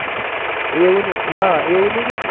એવું નહીં હા એવું નહીં કે